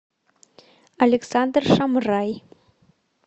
александр шамрай